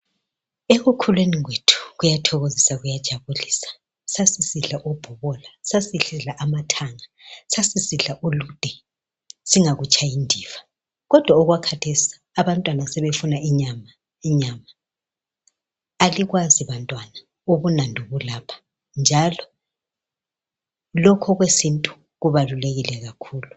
Ekukhuleni kwethu kwakujabulisa kakhulu sasisidla ibhobola, amathangà lolude. Kathesi abantwana sebefuna inyama. Alikwazi bantwana ubunandi obusekudleni kwesintu njalo kubalulekile kakhulu.